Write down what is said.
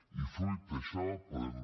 i fruit d’això podem